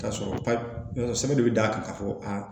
K'a sɔrɔ pa ka fɔ aa